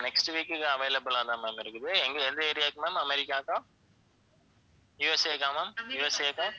next week க்குக்கு available ஆ தான் ma'am இருக்குது எங்க எந்த area க்கு ma'am அமெரிக்காக்கா USA க்கா ma'am USA க்கா